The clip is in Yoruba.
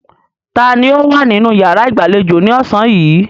Taani ó wà nínú yàrá ìgbàlejò ni ọ̀sán yìí?